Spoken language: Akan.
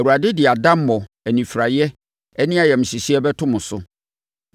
Awurade de adammɔ, anifiraeɛ ne ayamhyehyeɛ bɛto mo so.